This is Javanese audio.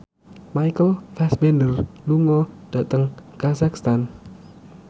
Michael Fassbender lunga dhateng kazakhstan